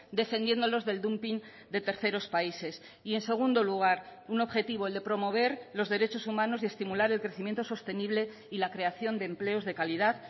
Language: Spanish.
defendiéndolos del dumping de terceros países y en segundo lugar un objetivo el de promover los derechos humanos y estimular el crecimiento sostenible y la creación de empleos de calidad